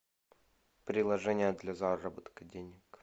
приложение для заработка денег